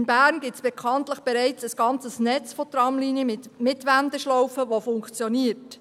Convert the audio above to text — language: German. In Bern gibt es bekanntlich bereits ein ganzes Netz von Tramlinien mit Wendeschlaufen, das funktioniert.